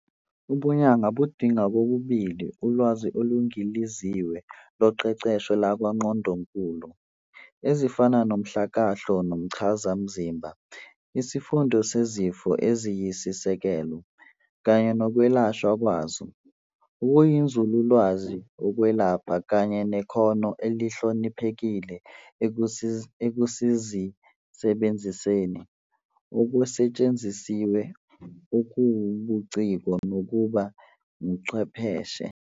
Ubunyanga budinga kokubili ulwazi oluningiliziwe loqeqesho lakwaNgqondonkulu, ezifana nomhlakahlo nomchazamzimba, isifundo sezifo eziyisisekelo, kanye nokwelashwa kwazo, okuyinzululwazi yokwelapha, kanye nekhono elihloniphekile ekuzisebenziseni, okusetshenzisiwe, okuwubuciko nokuba ingcwepheshi.